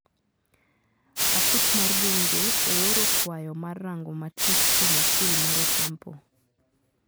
Aput mar bunge ooro kwayo mar rango matut kuom okil mar Otampo.